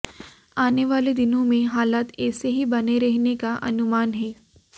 आने वाले दिनों में हालात ऐसे ही बने रहने का अनुमान है